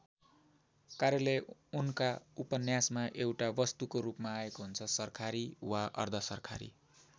कार्यालय उनका उपन्यासमा एउटा वस्तुको रूपमा आएको हुन्छ सरकारी वा अर्धसरकारी।